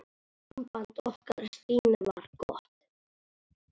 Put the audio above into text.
Samband okkar Stínu var gott.